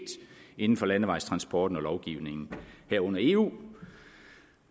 inden for landevejstransporten og lovgivningen herunder eu